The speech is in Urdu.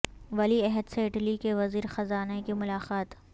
ولی عہد سے اٹلی کے وزیر خزانہ کی ملاقات